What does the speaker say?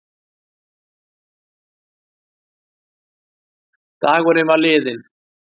Dagurinn var liðinn.